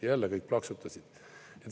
Ja jälle kõik plaksutasid.